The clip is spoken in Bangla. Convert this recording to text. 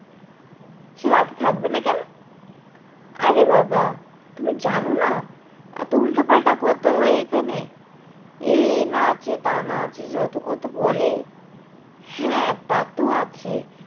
সে রাতে থাকেব না কেন? আরে বাবা তুমি জানো না এতো উল্টো পাল্টা কথা হয় এখানে এই এইনা আছে তা না আছে যত কত বলে হ্যাঁ তা তো আছে